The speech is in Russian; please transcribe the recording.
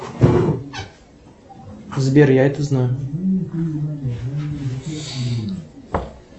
сбер я это знаю